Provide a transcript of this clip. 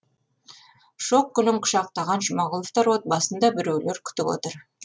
шоқ гүлін құшақтаған жұмағұловтар отбасын да біреулер күтіп отыр